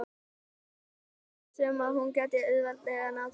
Hún var viss um að hún gæti auðveldlega náð þeim.